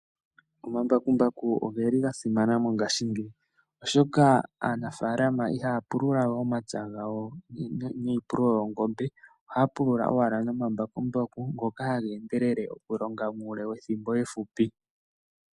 Omambakumbaku ogeli ga simana mongashingeyi, oshoka aanafalama ihaya pulula we omapya gawo niipululo yoongombe, ohaya pulula owala nomambakumbaku ngoka haga endelele okulonga muule wethimbo efupi.